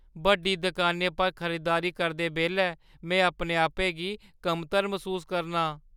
बड्डी दकानै पर खरीदारी करदे बेल्लै में अपने आपै गी कमतर मसूस करनां।